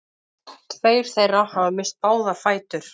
Tveir þeirra hafa misst báða fætur